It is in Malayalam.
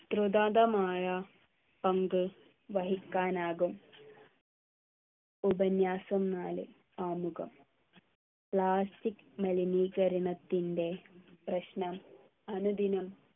തൃദാന്തമായ പങ്ക് വഹിക്കാനാകും ഉപന്യാസം നാല് ആമുഖം plastic മലിനീകരണത്തിൻ്റെ പ്രശ്നം അനുദിനം